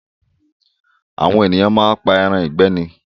Àwọn ènìyàn máa ń pa ẹran ìgbẹ́ ni